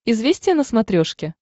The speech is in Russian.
известия на смотрешке